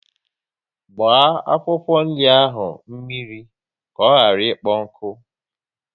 Gbaa akwụkwọ nri ahụ mmiri ka ọ ghara ikpo nkụ!